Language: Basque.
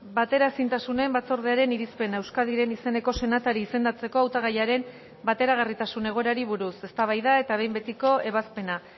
bateraezintasunen batzordearen irizpena euskadiren izeneko senatari izendatzeko hautagaiaren bateragarritasun egoerari buruz eztabaida eta behin betiko ebazpena